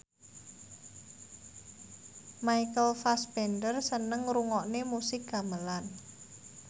Michael Fassbender seneng ngrungokne musik gamelan